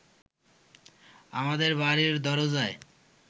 আমাদের বাড়ির দরজায়